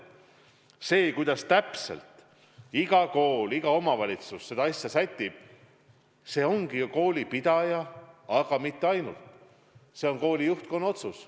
See, kuidas iga kool, iga omavalitsus need asjad sätib, ongi koolipidajate ja koolide juhtkonna otsus.